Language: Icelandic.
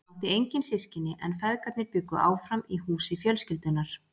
Hann átti engin systkini en feðgarnir bjuggu áfram í húsi fjölskyldunnar.